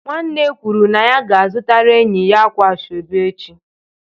Nwanne kwuru na ya ga-azụtara enyi ya akwa asobe echi.